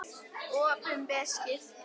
Opinber skipti